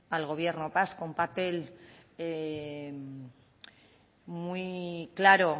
al gobierno vasco un papel muy claro